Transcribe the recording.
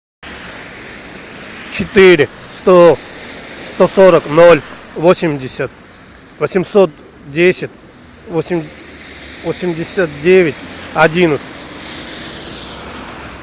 четыре сто сто сорок ноль восемьдесят восемьсот десять восемьдесят девять одиннадцать